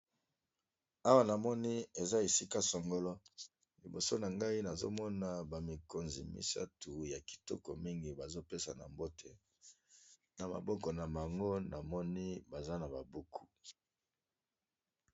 Awa na moni eza esika sangolo liboso na ngai, nazomona bamikonzi misatu ya kitoko mingi bazopesa na mbote, na maboko na bango na moni baza na babuku.